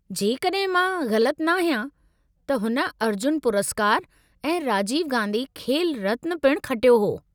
जेकड॒हिं मां ग़लति नाहियां त हुन अर्जुन पुरस्कार ऐं राजीव गांधी खेल रत्न पिण खटियो हो।